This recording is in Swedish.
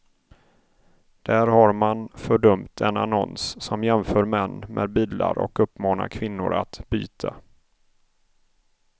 Där har man fördömt en annons som jämför män med bilar och uppmanar kvinnor att byta.